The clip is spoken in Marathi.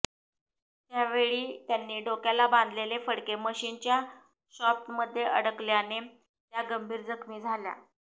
त्यावेळी त्यांनी डोक्याला बांधलेले फडके मशिनच्या शॉप्टमध्ये अडकल्याने त्या गंभीर जखमी झाल्या